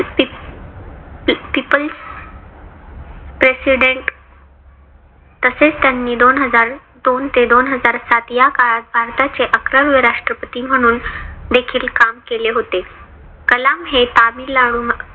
peoples president तसेच त्यांनी दोन हजार दोन ते दोन हजार सात या काळात भारताचे अकरावे राष्ट्रपती म्हणून देखील काम केले होते. कलाम हे तामिळनाडू